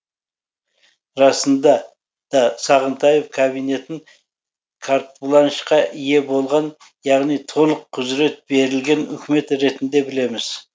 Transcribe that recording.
расында да сағынтаев кабинетін картбланшқа ие болған яғни толық құзырет берілген үкімет ретінде білеміз